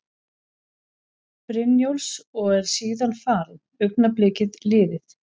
Brynjólfs og er síðan farin, augnablikið liðið.